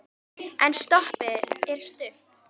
En stoppið er stutt.